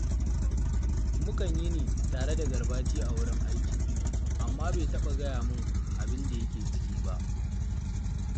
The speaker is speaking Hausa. Mukan yini tare da Garbati a wurin aiki, amma bai taɓa gaya min abin da yake ciki ba